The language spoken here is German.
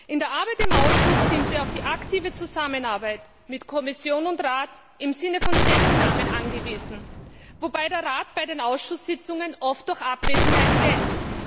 In der Arbeit im Ausschuss sind wir auf die aktive Zusammenarbeit mit Kommission und Rat im Sinne von Stellungnahmen angewiesen, wobei der Rat bei den Ausschusssitzungen oft durch Abwesenheit glänzt.